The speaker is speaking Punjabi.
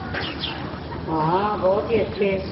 ਹਾਂ ਬਹੁਤ ਹੀ ਅੱਛੇ